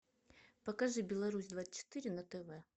покажи беларусь двадцать четыре на тв